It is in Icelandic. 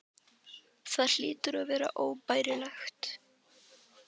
Það hlýtur að vera óbærilegt.